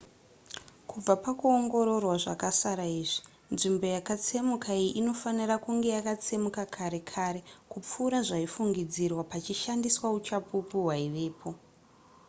kubva pakuongororwa zvakasara izvi nzvimbo yakatsemuka iyi inofanira kunge yakatsemuka kare kare kupfuura zvaifungidzirwa pachishandiswa uchapupu hwaivapo